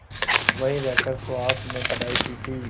वहीं रहकर सुहास ने पढ़ाई की थी